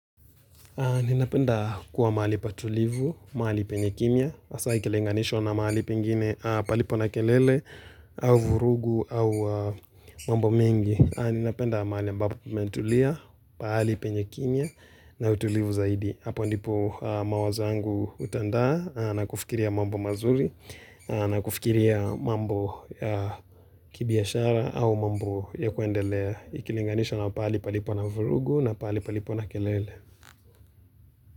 Ninapenda kuwa mahali patulivu, mahali penye kimya, hasa ikilinganishwa na mahali pingine palipo na kelele au vurugu au mambo mengi. Ninapenda mahali ambapo mmentulia, pahali penye kimya na utulivu zaidi. Hapo ndipo mawazo yangu hutandaa na kufikiria mambo mazuri na kufikiria mambo ya kibiashara au mambo ya kuendelea ikilinganishwa na pahali palipo na vurugu na pahali palipo na kelele.